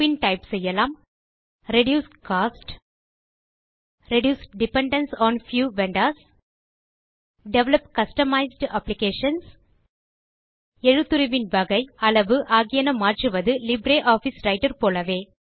பின் type செய்யலாம்160 reduce costs reduce dependence on few vendors develop customised applications எழுத்துருவின் வகை அளவு ஆகியன மாற்றுவது லிப்ரியாஃபிஸ் ரைட்டர் போலவே